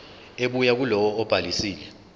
ebuya kulowo obhalisile